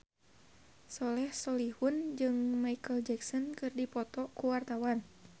Soleh Solihun jeung Micheal Jackson keur dipoto ku wartawan